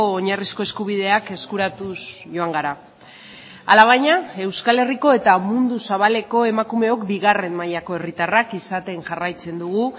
oinarrizko eskubideak eskuratuz joan gara hala baina euskal herriko eta mundu zabaleko emakumeok bigarren mailako herritarrak izaten jarraitzen dugu